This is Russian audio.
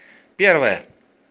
первое